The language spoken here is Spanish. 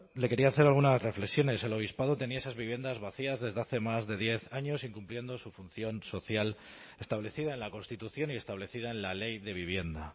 le quería hacer algunas reflexiones el obispado tenía esas viviendas vacías desde hace más de diez años incumpliendo su función social establecida en la constitución y establecida en la ley de vivienda